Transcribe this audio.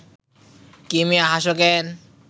কী মিয়া, হাসো ক্যান